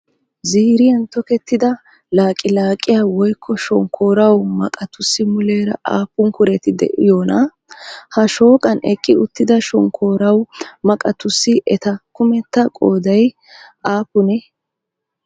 Ziiriyan tokettida laqilaqiyaa woykko shonkkooruwaa maqatussi muleera aappun kureti de'iyoonaa? ha shooqan eqqi uttida shonkkooruwaa maqatussi eta kumetta qooday aappunee?